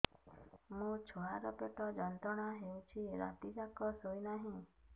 ମୋ ଛୁଆର ପେଟ ଯନ୍ତ୍ରଣା ହେଉଛି ରାତି ଯାକ ଶୋଇନାହିଁ